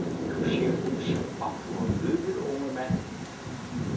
Du ser ud som om, du har løbet, unge mand.